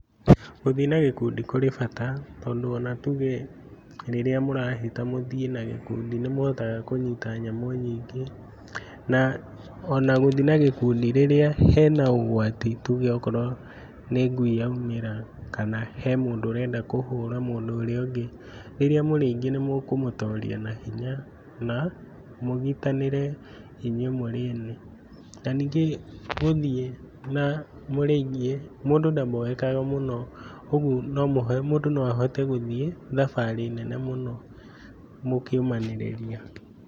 Gũthiĩ na gĩkundi kũrĩ bata tondũ ona tuge rĩrĩa mũrahĩta mũthiĩ na gĩkundi nĩmũhotaga kũnyita nyamũ nyingĩ na o na gũthiĩ na gĩkundi rĩrĩa hena ũgwati tuge okorwo nĩ ngui yaumĩra kana he mũndũ ũrenda kũhũra mũndũ ũrĩa ũngĩ. Rĩrĩa mũrĩ aingĩ nĩmũkũmũtoria na hinya na mũgitanĩre inyuĩ mũrĩ ene. Na ningĩ gũthiĩ na mũrĩ aingĩ, mũndũ ndamboekaga mũno ũguo mũndũ no ahote gũthiĩ thabarĩ nene mũno mũkĩũmanĩrĩria.